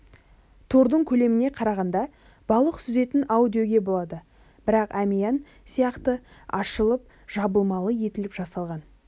тордың көлеміне қарағанда балық сүзетін ау деуге болады бірақ әмиән сияқты ашылып-жабылмалы етіліп жасалған